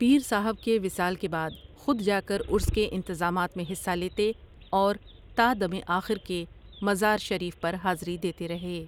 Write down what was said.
پیر صاحب ؒ کے وصال کے بعد خود جا کر عرس کے انتظامات میں حصہ لیتے اور تادم آخر کے مزار شریف پر حاضری دیتے رہے ۔